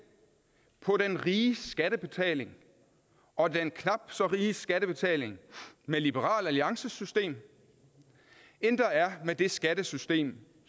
på den riges skattebetaling og den knap så riges skattebetaling med liberal alliances system end der er med det skattesystem